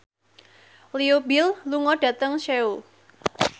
Leo Bill lunga dhateng Seoul